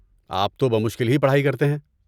آپ تو بمشکل ہی پڑھائی کرتے ہیں۔